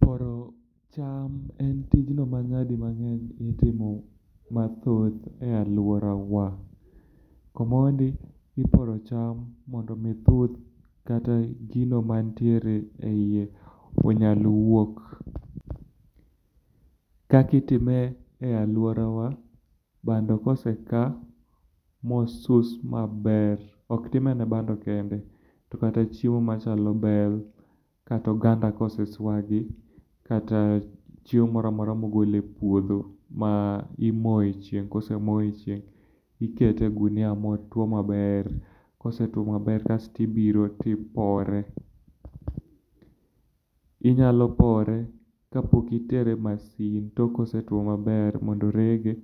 Kuoro cham en tijno ma nyadimange'eny itimo mathoth e aluorawa. Komondi ikuoro cham mondo mi thuth kata gino mantiere eiye onyal wuok. Kaka itime e aluorawa, bando koseka mosus maber, ok time ne bando kende to kata chiemo machalo bel, Kata oganda kosesuagi, kata chiemo moro amora mogol epuodho. Imoyo e chieng' ka osemo echieng', to ikete e ogunia motwo maber. Kosetuo maber kasto ibiro to ipore. Inyalo pore kapok itere e masin tok kosetuo maber mondo orege.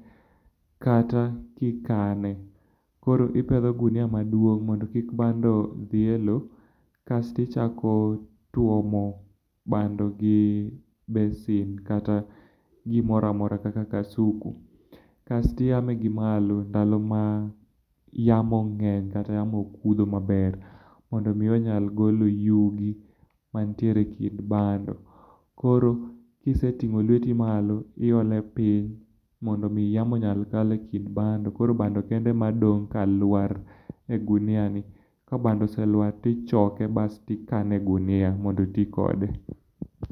Kata kikane. Koro ipedho gunia maduong' mondo kik bando dhi elowo. Kasto ichako tuomo bando gi besen kata gimoro amora kaka kasuku. Kasto iome gimalo sama yamo ng'eny kata yamo kudho mang'eny, mondo mi onyal golo yugi mantiere ekind bando. Koro kiseting'o lueti malo, to iole piny mondo mi yamo nyal kalo ekind bando, koro bando kende ema dong' kaluar e oguniani. Kabando oseluar to ichoke to ikano e oguniani mondo oti kode.